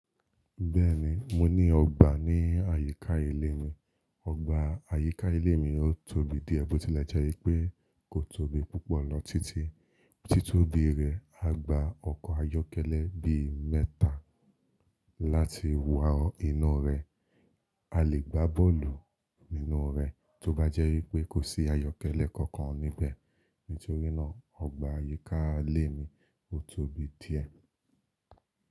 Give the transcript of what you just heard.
Bẹ́ẹ̀ni, mo ní ọgbà ní àyíká ilé mi. Ọgbà àyíká ilé mi ó tóbi díẹ̀ bó tilẹ̀ jẹ́ wípẹ́ kò tóbi púpọ̀ lọ títí. Títóbi rẹ̀, a gba ọkọ̀ ayọ́kẹ́lẹ́ bí mẹ́ta láti wo inú rẹ̀. A lè gbá bọ́ọ̀lù nínú rẹ̀ tó bá jẹ́ wípé kò sí ayọ́kẹ́lẹ́ kankan níbẹ̀. Nítorínà ọgbà àyíká ilé mi ó tóbi díẹ̀